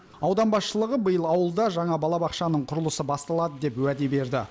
аудан басшылығы биыл ауылда жаңа балабақшаның құрылысы басталады деп уәде берді